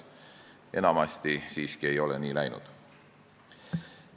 Enamasti ei ole siiski nii läinud.